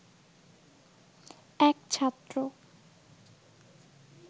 এক ছাত্র